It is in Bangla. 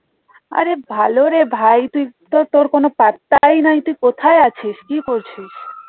আরে ভালো রে ভাই তুই তোর কোনো পাত্তাই নাই তুই কোথায় আছিস কি করছিস?